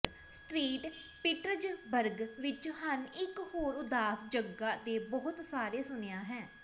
street Petersburg ਵਿੱਚ ਹਨ ਇੱਕ ਹੋਰ ਉਦਾਸ ਜਗ੍ਹਾ ਦੇ ਬਹੁਤ ਸਾਰੇ ਸੁਣਿਆ ਹੈ